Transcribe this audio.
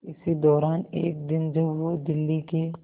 इसी दौरान एक दिन जब वो दिल्ली के